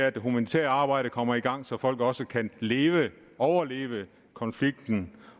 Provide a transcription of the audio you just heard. at det humanitære arbejde kommer i gang så folk også kan leve og overleve konflikten